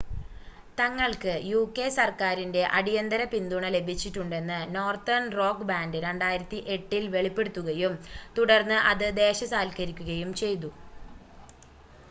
തങ്ങൾക്ക് യുകെ സർക്കാരിൻ്റെ അടീയന്തര പിന്തുണ ലഭിച്ചിട്ടുണ്ടെന്ന് നോർത്തേൺ റോക്ക് ബാൻ്റ് 2008 ൽ വെളിപ്പെടുത്തുകയും തുടർന്ന് അത് ദേശസാൽക്കരിക്കുകയും ചെയ്തു